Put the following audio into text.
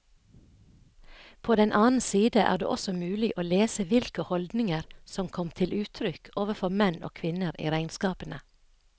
På den annen side er det også mulig å lese hvilke holdninger som kom til uttrykk overfor menn og kvinner i regnskapene.